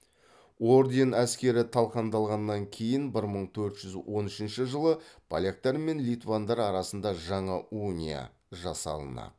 орден әскері талқандалғаннан кейін бір мың төрт жүз он үшінші жылы поляктар мен литвандар арасында жаңа уния жасалынады